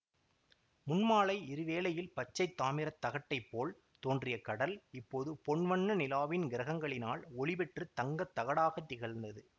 முன்மாலை இருள்வேளையில் பச்சை தாமிர தகட்டைப்போல் தோன்றிய கடல் இப்போது பொன் வண்ண நிலாவின் கிரணங்களினால் ஒளி பெற்று தங்கத் தகடாகத் திகழ்ந்தது